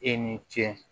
E ni ce